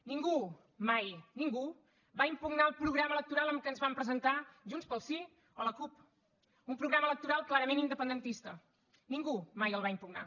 ningú mai ningú va impugnar el programa electoral amb el qual ens vam presentar junts pel sí o la cup un programa electoral clarament independentista ningú mai el va impugnar